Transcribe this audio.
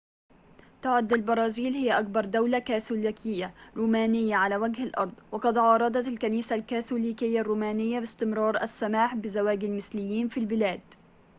تعد البرازيل هي أكبر دولة كاثوليكية رومانية على وجه الأرض وقد عارضت الكنيسة الكاثوليكية الرومانية باستمرار السماح بزواج المثليين في البلاد